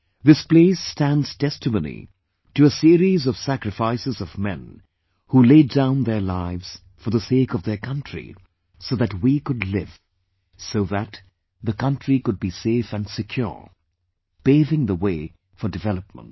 This place stands testimony to a series of sacrifices of men who laid down their lives for the sake of their country, so that we could live, so that the country could be safe & secure, paving the way for development